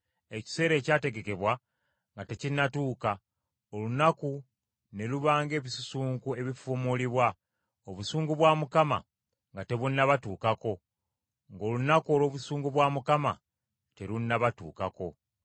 ekiseera ekyategekebwa nga tekinnatuuka, olunaku ne luba ng’ebisusunku ebifuumulibwa, obusungu bwa Mukama nga tebunnabatuukako, ng’olunaku olw’obusungu bwa Mukama terunnabatuukako.